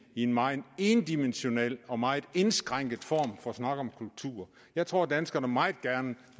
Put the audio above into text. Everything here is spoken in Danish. i en meget endimensional og meget indskrænket form for snak om kultur jeg tror at danskerne meget gerne